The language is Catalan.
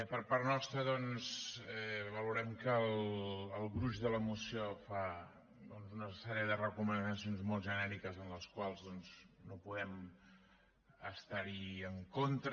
per part nostra doncs valorem que el gruix de la moció fa doncs una sèrie de recomanacions molt genèriques amb les quals no podem estar en contra